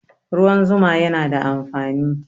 Ruwan zuma yana da amfani